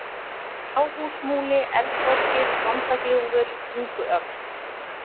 Fjárhúsmúli, Eldborgir, Vondagljúfur, Tunguöxl